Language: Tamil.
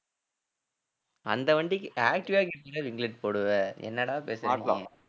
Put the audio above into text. அந்த வண்டிக்கு activa க்கு எப்படிடா ringlet போடுவ என்னடா பேசற நீ